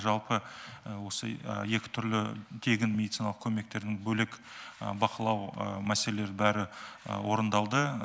жалпы осы екі түрлі тегін медициналық көмектерін бөлек бақылау мәселелер бәрі орындалды